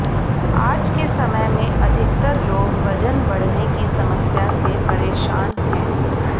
आज के समय में अधिकतर लोग वजन बढ़ने की समस्या से परेशान हैं